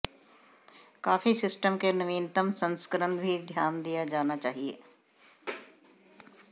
काफी सिस्टम के नवीनतम संस्करण भी ध्यान दिया जाना चाहिए